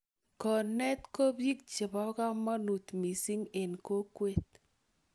konet ko bich che bo komonut misiing en kokwee